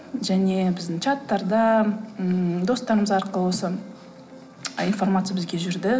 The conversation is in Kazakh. және біздің чаттарда ммм достарымыз арқылы осы информация бізге жүрді